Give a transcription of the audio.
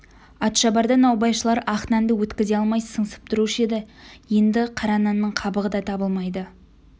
атшабарда наубайшылар ақ нанды өткізе алмай сыңсып тұрушы еді енді қара нанның қабығы да табылмайды